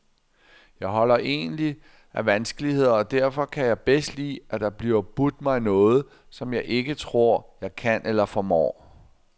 Jeg holder egentlig af vanskeligheder og derfor kan jeg bedst lide, at der bliver budt mig noget, som jeg ikke tror, jeg kan eller formår.